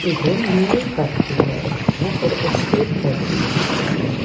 இது மலைப்பகுதியில இருக்குற ஒரு எஸ்டேட் பகுதியா இருக்கு.